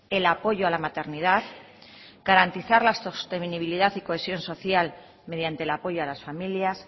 el apoyo a la maternidad garantizar la sostenibilidad y cohesión social mediante el apoyo a las familias